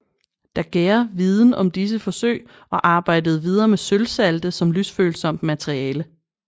Daguerre viden om disse forsøg og arbejdede videre med sølvsalte som lysfølsomt materiale